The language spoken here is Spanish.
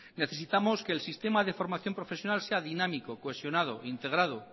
necesitamos que el sistema de formación profesional sea dinámico cohesionado integrado